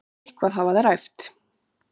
Eitthvað hafa þær æft.